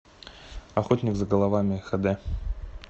охотник за головами хд